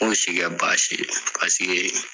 M'o si kɛ baasi ye pasike